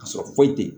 Ka sɔrɔ foyi tɛ